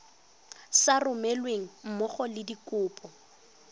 sa romelweng mmogo le dikopo